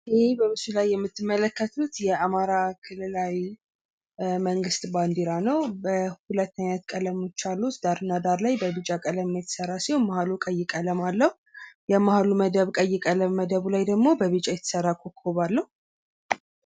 ይህ በምስሉ ላይ የምትመለከቱት የአማራ ክልላዊ መንግስት ባንዴራ ነው ። ሁለት አይነት ቀለሞች አሉት ዳር እና ዳር ላይ በቢጫ ቀለም የተሰራ ሲሆን መሀሉ ቀይ ቀለም አለው የመሀሉ መደብ ቀይ ቀለም መደቡ ላይ ደግሞ በቢጫ የተሰራ ኮኮብ አለው።